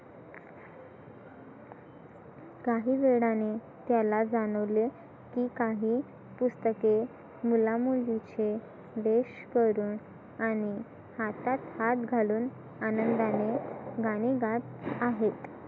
काही वेळाने त्याला जाणवले की काही पुस्तके मुला मुलीचे वेश करून आणि हातात हात घालून आनंदाने गाणे गात आहेत.